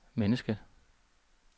mennesket